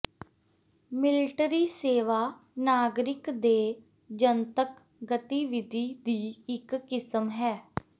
military ਸੇਵਾ ਨਾਗਰਿਕ ਦੇ ਜਨਤਕ ਗਤੀਵਿਧੀ ਦੀ ਇੱਕ ਕਿਸਮ ਹੈ